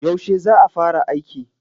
Yaushe za fara aiki?